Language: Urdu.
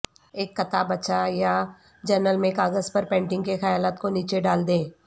ایک کتابچہ یا جرنل میں کاغذ پر پینٹنگ کے خیالات کو نیچے ڈال دیں